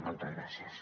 moltes gràcies